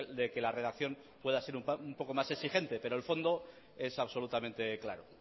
de que la redacción pueda ser un poco más exigente pero el fondo es absolutamente claro